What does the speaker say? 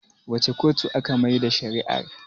wace kotu aka Maida shari'a r?